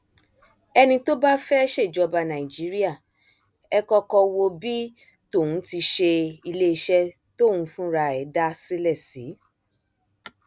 ẹni tó bá fẹẹ ṣèjọba nàìjíríà ẹ kọkọ wo bí tóhun ti ṣe iléeṣẹ tóun fúnra ẹ dá sílẹ sí